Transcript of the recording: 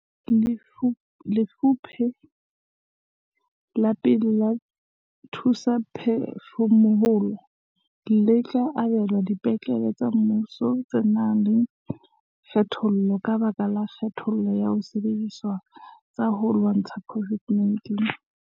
Lefupe la pele la dithusaphefumoloho le tla abelwa dipetlele tsa mmuso tse nang le kgatello ka lebaka la kgaello ya disebediswa tsa ho lwantsha COVID-19.